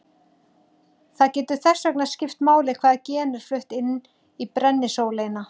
Það getur þess vegna skipt máli hvaða gen er flutt inn í brennisóleyna.